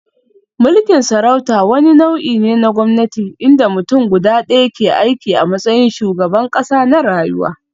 Mulkin sarauta wani nau'i ne na gwamnati inda mutum guda ɗaya, ke aiki a matsayin shugaban ƙasa na rayuwa.